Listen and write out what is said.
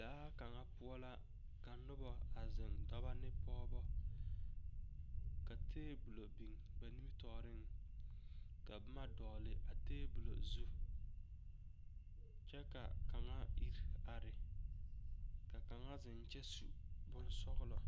Daa kaŋa poɔ la ka noba a zeŋ dɔbɔ ane pɔɔbɔ ka tebolo biŋ ba nimitɔɔreŋ ka boma dɔgle a tabole zu kyɛ ka kaŋ iri are ka kaŋa zeŋ kyɛ su bonzɔlɔ.